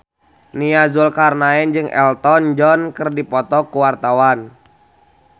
Nia Zulkarnaen jeung Elton John keur dipoto ku wartawan